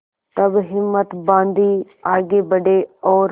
तब हिम्मत बॉँधी आगे बड़े और